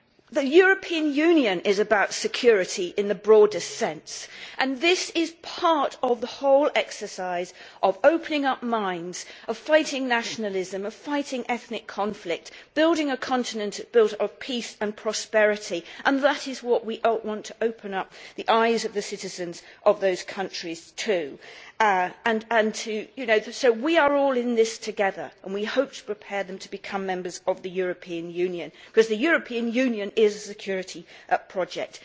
The European Union is about security in the broadest sense and this is part of the whole exercise of opening up minds, of fighting nationalism, of fighting ethnic conflict, of building a continent on peace and prosperity, and that is what we want to open up the eyes of the citizens of those countries to. We are all in this together and we hope to prepare them to become members of the European Union because the European Union is a security project.